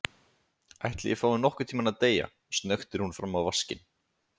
Ætli ég fái nokkurntímann að deyja, snöktir hún fram á vaskinn.